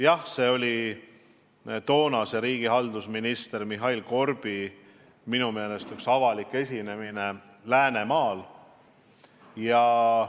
Jah, see oli seotud toonase riigihaldusministri Mihhail Korbi minu meelest avaliku esinemisega Läänemaal.